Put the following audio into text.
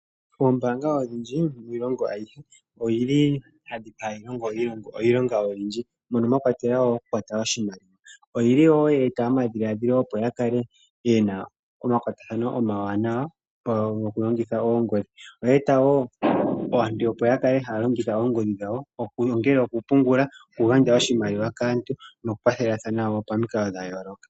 Ombaanga odhindji miilongo ayihe odhili hadhi longo iilong oyindji mono mwakwatelwa okukwata nawa oshimaliwa. Oyili woye eta oku kala omakwatathano omawanawa nongodhi oye eta wo aantu, opo ya kale haya pungula oshimaliwa shawo nongodhi okugandja oshimaliwa kaantu nokukwathelathana pamikalo dhayooloka.